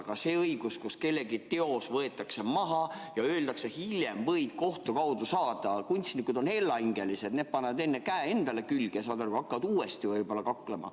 Aga see õigus, et teos võetakse maha ja öeldakse, et hiljem võid kohtu kaudu saada – kunstnikud on hellahingelised, need panevad sageli ennem käe endale külge, kui hakkavad uuesti kaklema.